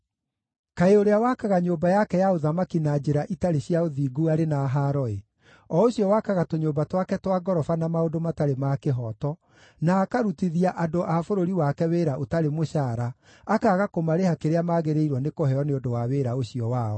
“Kaĩ ũrĩa wakaga nyũmba yake ya ũthamaki na njĩra itarĩ cia ũthingu arĩ na haaro-ĩ! o ũcio wakaga tũnyũmba twake twa ngoroba na maũndũ matarĩ ma kĩhooto, na akarutithia andũ a bũrũri wake wĩra ũtarĩ mũcaara, akaaga kũmarĩha kĩrĩa maagĩrĩirwo nĩ kũheo nĩ ũndũ wa wĩra ũcio wao.